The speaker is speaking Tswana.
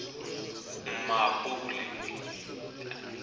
mmapule